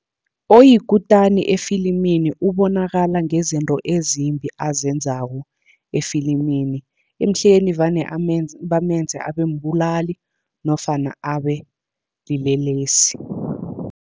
Oyikutani efilimini ubonakala ngezinto ezimbi azenzako efilimini, emihleni vane bamenze abe mbulali nofana abe silelesi.